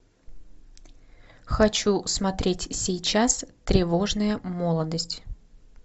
хочу смотреть сейчас тревожная молодость